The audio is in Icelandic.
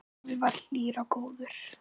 Afi var hlýr og góður.